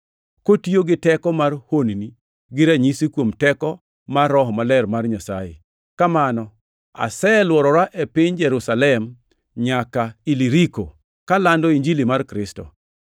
kotiyo gi teko mar honni gi ranyisi kuom teko mar Roho Maler mar Nyasaye. Kamano aselworora e piny Jerusalem nyaka Iliriko, kalando Injili mar Kristo.